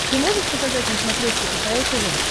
ты можешь показать на смотрешке кхл тв